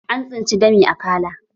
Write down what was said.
An tsinci dami a akala